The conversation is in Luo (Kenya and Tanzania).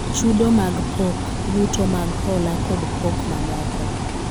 chudo mag pok, yuto mag hola kod pok mamoko